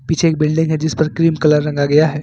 पीछे एक बिल्डिंग है जिस पर क्रीम कलर रंगा गया है।